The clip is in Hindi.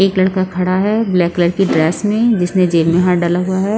एक लड़का खड़ा है ब्लैक कलर की ड्रेस में जिसने जेब में हाथ डाला हुआ है।